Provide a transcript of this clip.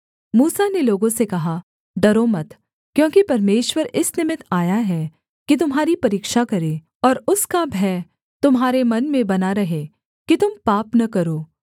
मूसा ने लोगों से कहा डरो मत क्योंकि परमेश्वर इस निमित्त आया है कि तुम्हारी परीक्षा करे और उसका भय तुम्हारे मन में बना रहे कि तुम पाप न करो